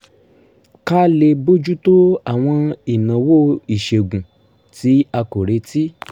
ká lè bójú tó àwọn ìnáwó ìṣègùn tí a kò retí